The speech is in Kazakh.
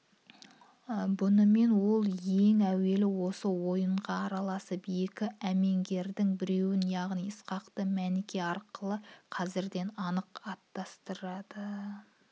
бұнымен ол ең әуелі осы ойынға араласып екі әмеңгердің біреуін яғни ысқақты мәніке арқылы қазірден анық атсыратты